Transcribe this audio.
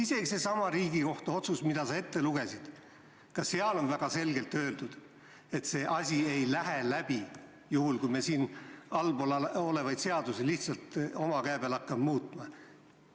Isegi seesama Riigikohtu otsus, mille sa ette lugesid – ka seal on väga selgelt öeldud, et see ei lähe läbi, kui me siin allpool olevaid seadusi lihtsalt oma käe peal hakkame muutma.